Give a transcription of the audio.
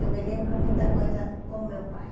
Eu me lembro muita coisa com meu pai.